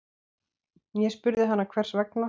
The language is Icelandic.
Ég spurði hana hvers vegna.